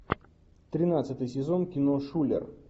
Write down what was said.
тринадцатый сезон кино шулер